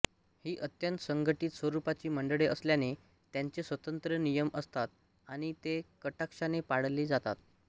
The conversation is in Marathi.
ही अत्यंत संघटित स्वरूपाची मंडळे असल्याने त्यांचे स्वतंत्र नियम असतात आणि ते कटाक्षाने पाळले जातात